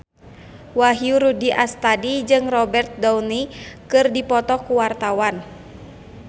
Wahyu Rudi Astadi jeung Robert Downey keur dipoto ku wartawan